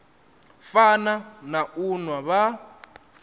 fana na u nwa vha